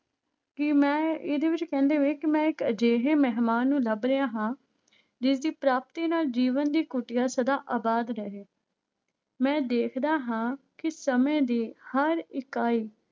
ਕਿ ਮੈਂ ਇਹਦੇੇ ਵਿੱਚ ਕਹਿੰਦੇ ਵੇ ਕਿ ਮੈਂ ਇੱਕ ਅਜਿਹੇ ਮਿਹਮਾਨ ਨੂੰ ਲੱਭ ਰਿਹਾ ਹਾਂ ਜਿਸਦੀ ਪ੍ਰਾਪਤੀ ਨਾਲ ਜੀਵਨ ਦੀ ਕੁਟੀਆ ਸਦਾ ਆਬਾਦ ਰਹੇ ਮੈਂ ਦੇਖਦਾ ਹਾਂ ਕਿ ਸਮੇਂ ਦੀ ਹਰ ਇਕਾਈ